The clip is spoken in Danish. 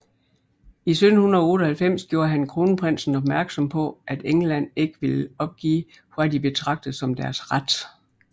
I 1798 gjorde han kronprinsen opmærksom på at England ikke ville opgive hvad de betragtede som deres ret